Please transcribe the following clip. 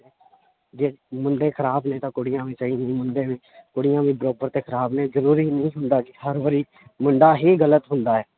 ਜੇ ਮੁੰਡੇ ਖ਼ਰਾਬ ਨੇ ਤਾਂਂ ਕੁੜੀਆਂ ਵੀ ਸਹੀ ਨਹੀਂ ਮੁੰਡੇ ਵੀ ਕੁੜੀਆਂ ਵੀ ਬਰਾਬਰ ਤੇ ਖ਼ਰਾਬ ਨੇ ਜ਼ਰੂਰੀ ਨਹੀਂ ਹੁੰਦਾ ਕਿ ਹਰ ਵਾਰੀ ਮੁੰਡਾ ਹੀ ਗ਼ਲਤ ਹੁੰਦਾ ਹੈ।